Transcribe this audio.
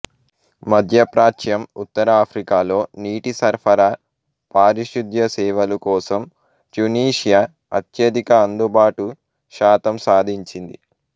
మధ్యప్రాచ్యం ఉత్తర ఆఫ్రికాలో నీటి సరఫరా పారిశుద్ధ్య సేవలు కోసం ట్యునీషియా అత్యధిక అందుబాటు శాతం సాధించింది